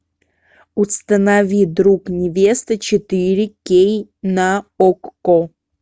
установи друг невесты четыре кей на окко